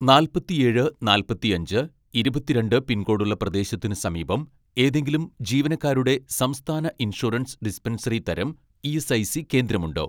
നാല്പത്തിയേഴ് നാൽപ്പത്തിയഞ്ച് ഇരുപത്തിരണ്ട് പിൻകോഡുള്ള പ്രദേശത്തിന് സമീപം ഏതെങ്കിലും ജീവനക്കാരുടെ സംസ്ഥാന ഇൻഷുറൻസ് ഡിസ്പെൻസറി തരം ഇ.എസ്.ഐ.സി കേന്ദ്രമുണ്ടോ